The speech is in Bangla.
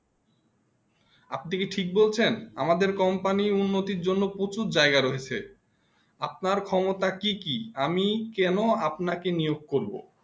আপনি কি ঠিক বলছে আমারদের company উন্নতি জন্য প্রচুর জায়গা রয়েছে আপনার ক্ষমতা কি কি আমি কেন আপনা কে নিয়োগ করবো